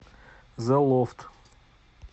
зэ лофт